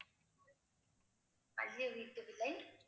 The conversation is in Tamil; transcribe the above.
வீட்டு விலை